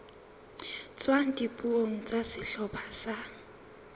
tswang dipuong tsa sehlopha sa